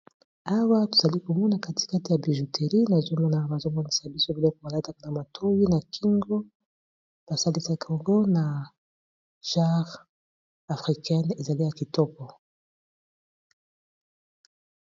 Awa tozali komona katikate ya bijouterie naezomona bazomonisa biso biloko balataka na matowi na kingo basalisa kongo na jare africaine ezali ya kitoko.